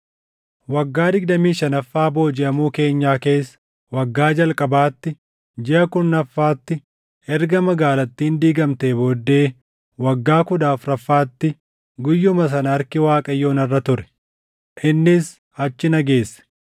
Waggaa digdamii shanaffaa boojiʼamuu keenyaa keessa, waggaa jalqabaatti, jiʼa kurnaffaatti, erga magaalattiin diigamtee booddee waggaa kudha afuraffaatti, guyyuma sana harki Waaqayyoo narra ture; innis achi na geesse.